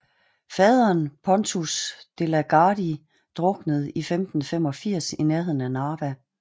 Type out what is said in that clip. Faderen Pontus De la Gardie druknede i 1585 i nærheden af Narva